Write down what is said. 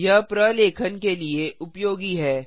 यह प्रलेखन के लिए उपयोगी है